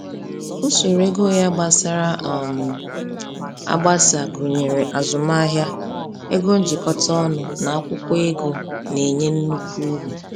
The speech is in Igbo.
Usoro ego ya gbasara um agbasa gụnyere azụmahịa, ego njikọta ọnụ, na akwụkwọ ego na-enye nnukwu uru.